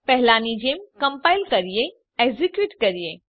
પહેલાની જેમ કમ્પાઈલ કરીએ એક્ઝેક્યુટ કરીએ